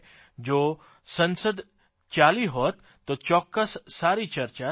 જો સંસદ ચાલી હોત તો ચોક્કસ સારી ચર્ચા થાત